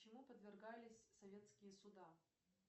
чему подвергались советские суда